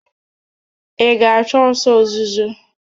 Ị ga-achụ ọsọ ozuzo?